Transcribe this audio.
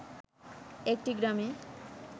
একটি গ্রামে